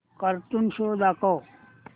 cartoon show दाखव